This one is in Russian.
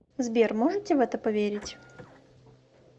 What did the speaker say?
сбер можете в это поверить